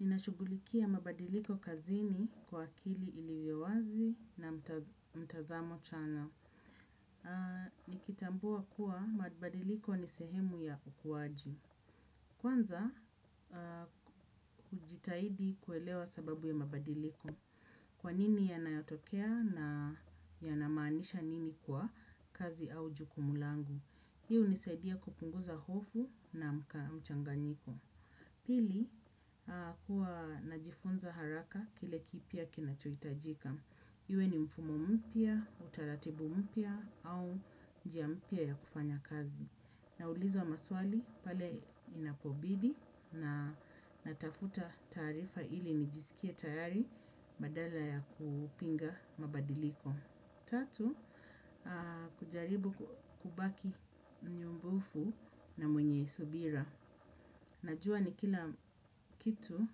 Ninashughulikia mabadiliko kazini kwa akili iliyo wazi na mtazamo chana. Nikitambua kuwa mabadiliko ni sehemu ya ukuaji. Kwanza, hujitahidi kuelewa sababu ya mabadiliko. Kwanini yanayotokea na yanamaanisha nini kwa kazi au jukumu langu. Hii hunisaidia kupunguza hofu na mchanganyiko. Pili, huwa najifunza haraka kile kipya kinachohtajika. Iwe ni mfumo mpya, utaratibu mpya au njia mpya ya kufanya kazi. Na uliza maswali pale inapobidi na natafuta taarifa ili nijisikie tayari badala ya kupinga mabadiliko. Tatu, kujaribu kubaki mnyumbufu na mwenye subira. Najua ni kila kitu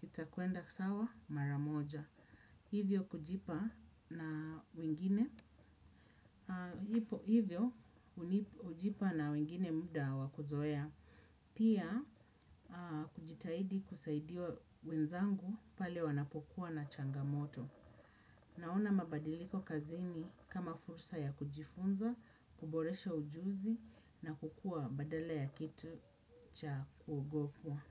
kitakwenda kisawa mara moja. Hivyo, hujipa na wengine muda wakuzoea. Pia, kujitahidi kusaidia wenzangu pale wanapokuwa na changamoto. Naona mabadiliko kazini kama fursa ya kujifunza, kuboresha ujuzi na kukua badala ya kitu cha kuogopwa.